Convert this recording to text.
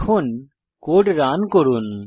এখন code run করুন